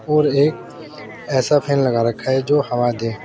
और एक ऐसा फैन लगा रखा है जो हवा दे।